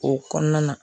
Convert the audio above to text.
O kɔnɔna na